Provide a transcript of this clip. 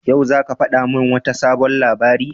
Yau zaka fadi mun wata sabon labari?